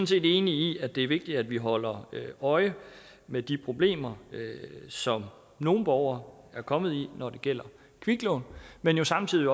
set enige i at det er vigtigt at vi holder øje med de problemer som nogle borgere er kommet i når det gælder kviklån men samtidig